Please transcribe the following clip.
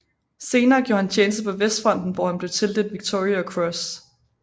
Senere gjorde han tjeneste på Vestfronten hvor han blev tildelt Victoria Cross